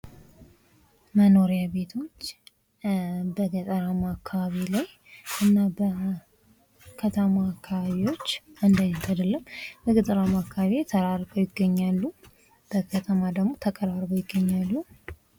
መኖሪያ ቤቶች በገጠራማ አካባቢ ላይ እና በከተማ አካባቢዎች አንድ አይነት አይደለም በገጠራማ አካባቢዎች ተራርቀው ይገኛሉ በከተማ ደግሞ ተቀራርበው ይገኛሉ።